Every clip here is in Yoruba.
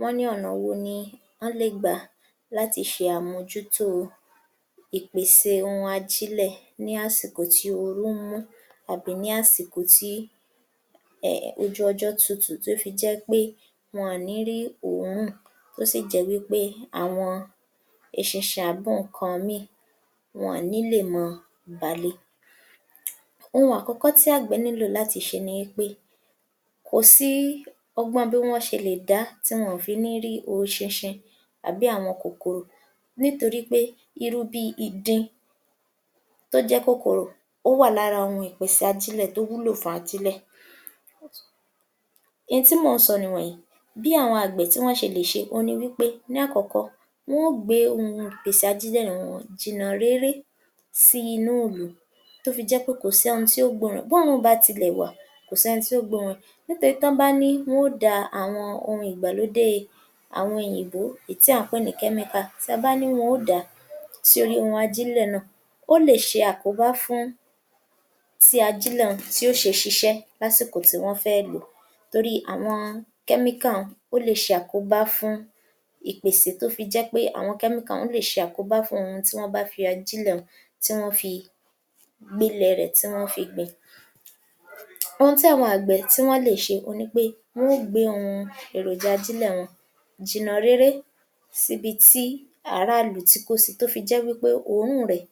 Wọ́n ní ọ̀nà wo ni án lè gbà láti ṣe àmójútó ìpèsè ohun ajílẹ̀ ní àsìkò tí ooru mú àbí ní àsìkò tí um ojú ọjọ́ tutù tó fi jẹ́ í pé wọn àn ní rí òórùn tó sì jẹ́ wí pé àwọn eṣinṣin àbóǹkan mìíìn wọn àn ní lè mọ bà le? Ohun àkọ́kọ́ tí àgbẹ̀ nílò láti ṣe ni í pé kò sí ọgbọ́n bí wọ́n ṣe lè dá tí wọn àn fi ní rí oṣinṣin àbí àwọn kòkòrò nítorí pé irú bíi ìdin tó jẹ́ kòkòrò ó wà lára àwọn ohun ìpèsè ajílẹ̀ tó wúlò fáájílẹ̀. N tí mò ń sọ nìwọ̀nyìí: bí àwọn àgbẹ̀ tí wọ́n ṣe lè ṣe oun ni wí pé ní àkọ́kọ́, wọ́n ó gbé ohun ìpèsè ajílẹ̀ wọn jìnnà réré sí inúùlú tó fi jẹ́ pé kò sẹ́n tí ó gbóòórùn rẹ̀. Bóòórùn bá tilẹ̀ wà kò sẹ́n tí ó gbóòórùn rẹ̀. Nítorí tán bá ní wọ́n ó da àwọn ohun ìgbàlódé àwọn òyìnbó èí tí à ń pè ní kẹ́míkà, tí a bá ní wọ́n ó dà á sí orí ihun ajílẹ̀ náà, ó lè ṣe àkóbá fún tí ajílẹ̀ un tí ó ṣe ṣiṣẹ́ lásìkò tí wọ́n fẹ́ lò ó. Torí àwọn kẹ́míkà un ó le ṣe àkóbá fún ìpèsè tó fi jẹ́ pé àwọn kẹ́míkà un ó lè ṣe àkóbá fún àwọn ohun tí wọ́n bá fi àwọn ajílẹ̀ un tí wọ́n fi pilẹ̀ rẹ̀ tí wọ́n fi gbìn. Ohun tí àwọn àgbẹ̀ tí wọ́n lè ṣe oun ni pé wọ́n ó gbe ihun àwọn èròjà ajílẹ̀ wọn jìnnà réré síbi tí aráàlú tí kò sí tó fi jẹ́ wí pé òórùn rẹ̀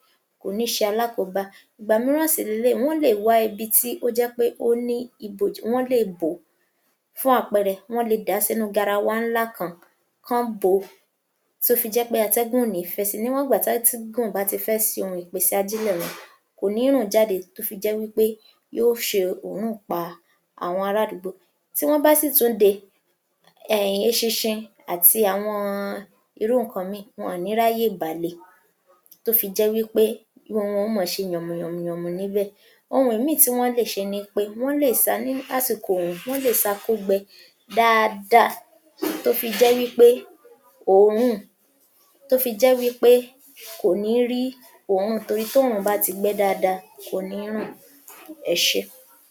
kò ní ṣe alákòóbá. Ìgbà mìíràn sì leléyìí wọ́n lè wá ibi tí ó jẹ́ pé ó ní ìbòji, wọ́n lè bó. Fún àpẹẹrẹ, wọ́n le dà á sínú garawa ńlá kan, kán án bò ó, tó fi jẹ́ pé àtẹ́gùn ò ní fẹ́ sí i. Níwọ̀ngbà tátígùn bá ti fẹ́ sí hun ìpèsè ajílẹ̀ un, kò ní rùn jáde tó fi jẹ́ wí pé yó ṣe òórùn pá àwọn ará àdúgbò. Tí wọ́n bá sì tún de um eṣinṣin àti àwọn-ọn irú nǹkan mìíìn wọn àn ní ráyè bà le; tó fi jẹ́ wí pé wọn n mọ ṣe yànmùyànmùyànmù níbẹ̀. Ohun ẹ̀míìn tí wọ́n lè ṣe ní pé wọ́n lè sa ní àsìkò oòrùn. Wọ́n lè sa kó gbẹ dáadáa tó fi jẹ́ wí pé òórùn, tó fi jẹ́ wí pé kò ní rí òórùn torí tóòrùn bá ti gbẹ́ dáadáa kò ní rùn. Ẹ ṣé.